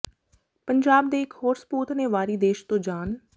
ਪੰਜਾਬ ਦੇ ਇੱਕ ਹੋਰ ਸਪੂਤ ਨੇ ਵਾਰੀ ਦੇਸ਼ ਤੋਂ ਜਾਨ